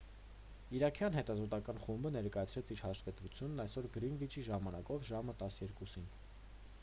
իրաքյան հետազոտական խումբը ներկայացրեց իր հաշվետվությունն այսօր գրինվիչի ժամանակով ժամը 12.00-ին